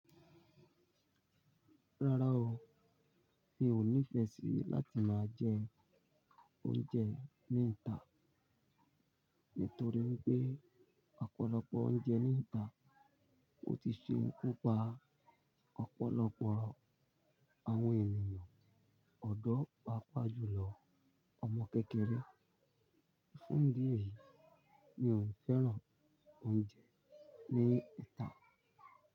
Rárá o, mi ò nífẹ́ sí láti máa jẹ oúnjẹ ní ìta nítorí pé ọ̀pọ̀lọpọ̀ oúnjẹ ní ìta ò tí ì ṣe kupa ọ̀pọ̀lọpọ̀ àwọn ènìyàn, ọ̀dọ́ pàápàá jùlọ ọmọ kékeré. Fún ìdí èyí, mi ò fẹ́ràn oúnjẹ ní ìta.